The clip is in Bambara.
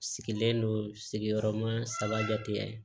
Sigilen don sigiyɔrɔma saba jate